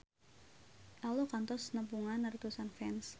Ello kantos nepungan ratusan fans